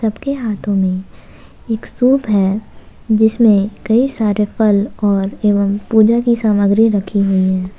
सब के हाथों में एक सूप है जिसमें कई सारे फल और एवम पूजा की सामग्री रखी हुई है।